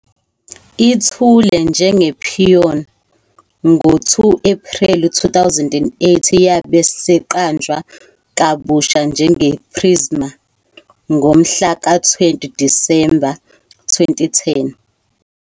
Ithule njengePoén! ngo-2 Ephreli 2008, yabe seqanjwa kabusha njengePrizma ngomhla ka-20 Disemba 2010.